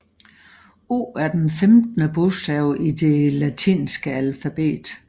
O er den femtende bogstav i det latinske alfabet